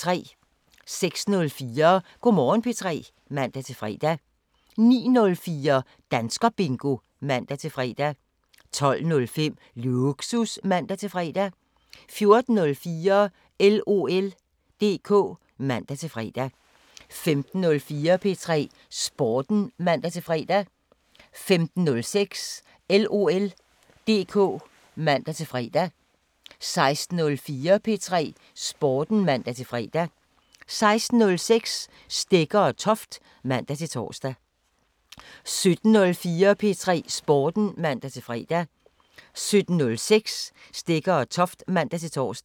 06:04: Go' Morgen P3 (man-fre) 09:04: Danskerbingo (man-fre) 12:05: Lågsus (man-fre) 14:04: LOL DK (man-fre) 15:04: P3 Sporten (man-fre) 15:06: LOL DK (man-fre) 16:04: P3 Sporten (man-fre) 16:06: Stegger & Toft (man-tor) 17:04: P3 Sporten (man-fre) 17:06: Stegger & Toft (man-tor)